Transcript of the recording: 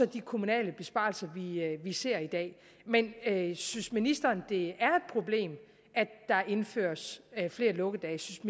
de kommunale besparelser vi ser i dag men synes ministeren det er et problem at der indføres flere lukkedage